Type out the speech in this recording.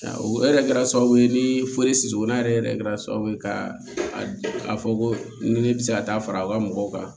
O yɛrɛ kɛra sababu ye ni forisi donna yɛrɛ yɛrɛ kɛra sababu ye ka a fɔ ko ni ne bɛ se ka taa fara u ka mɔgɔw kan